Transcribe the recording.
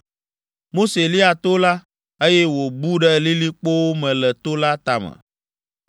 Mose lia to la, eye wòbu ɖe lilikpowo me le to la tame.